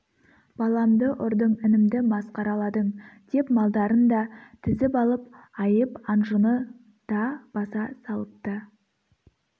баламды ұрдың інімді масқараладың деп малдарын да тізіп алып айып-анжыны да баса салыпты